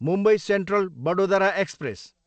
Mumbai central, Vadodara express